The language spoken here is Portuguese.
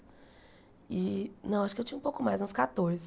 E não, acho que eu tinha um pouco mais, uns quatorze.